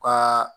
Ka